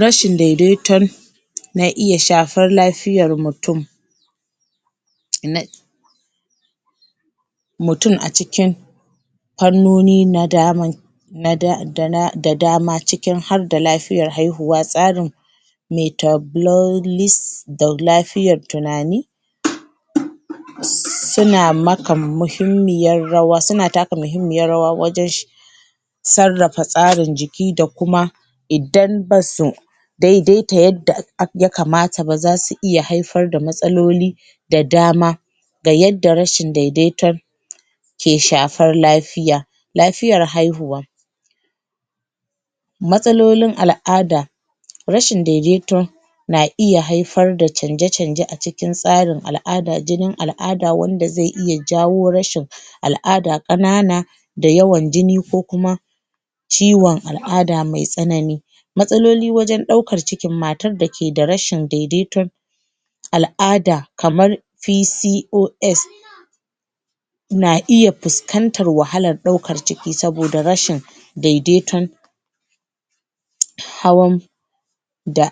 rashin dai-daiton na iya shafar lafiyar mutum mutum a cikin fannoni da dama da dama ciki har da lafiyar haihuwa tsarin da lafiyar tunani suna taka muhimmiyar rawa wajen sarrafa tsarin jiki da kuma idan basu dai-daita yadda ya kamata ba zasu iya haifar da matsaloli da dama ga yadda rashin dai-daiton ke shafar lafiya lafiyar haihuwa matsalolin al'ada rashin daidaiton na iya haifar da canje-canje a cikin tsarin jinin al'ada wanda ze iya jawo rashin al'ada ƙanana da yawan jini ko kuma ciwon al'ada me tsanani matsaloli wajen ɗaukar ciki, matar da ke da rashin daidaiton al'ada kamar PCOS na iya fuskantar wahalar ɗaukan ciki saboda rashin daidaiton hawan da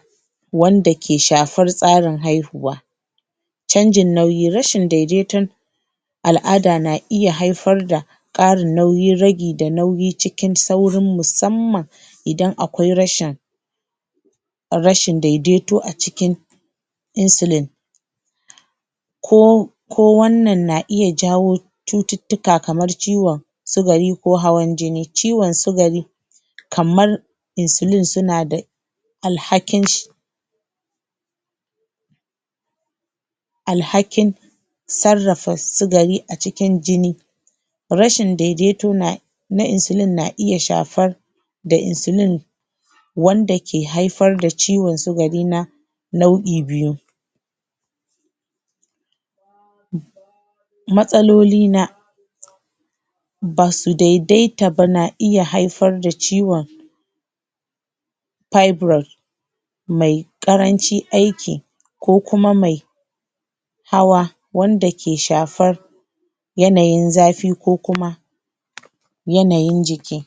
wanda ke shafar tsarin haihuwa canjin nauyi, rashin daidaiton al'ada na iya haifar da ragi da nauyi cikin sauri musamman idan akwai rashin rashin daidaito a cikin insulin ko ko wannan na iya jawo cututtuka kamar ciwon sugari ko hawan jini, ciwon sugari kamar insulin suna da alhakin alhakin sarrafa sigari a cikin jini rashin daidaito na na insulin na iya shafar da insulin wanda ke haifar da ciwon sugari na nau'i biyu matsaloli na basu dai-daita ba na iya haifar da ciwon fibroid me ƙarancin aiki ko kuma me hawa wanda ke shafar yanayin zafi ko kuma yanayin jiki